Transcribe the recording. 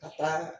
Ka taa